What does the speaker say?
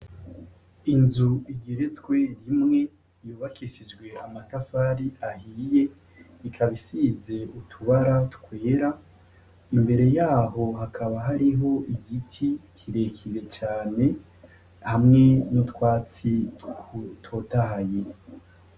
Inzu igeretswe rimwe yubakishijwe amatafari ahiye. Ikaba isize utubara twera. Imbere yaho hakaba hariho igiti kirekire cane hamwe n'utwatsi dutotahaye.